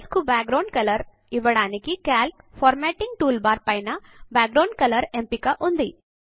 cells కు background colour ఇవ్వడానికి Calc formatting toolbar పైన బ్యాక్గ్రౌండ్ కలర్ ఎంపిక ఉంది